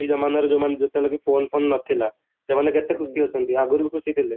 ଯଉମାନେ ଯେତେବେଳେ କି phone phone ନ ଥିଲା ସେମାନେ କେତେ ଖୁସି ଅଛନ୍ତି ଆଗରୁ ବି କେତେ ଖୁସି ଥିଲେ